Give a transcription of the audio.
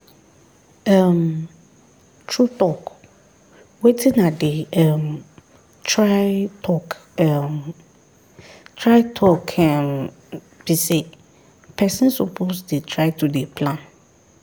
um true talk wetin i dey um try talk um try talk um be say person suppose dey try to dey plan